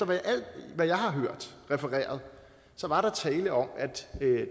hvad jeg har hørt refereret så var der tale om at